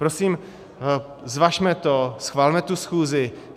Prosím, zvažme to, schvalme tu schůzi.